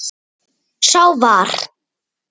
Sá var